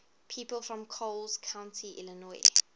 people from coles county illinois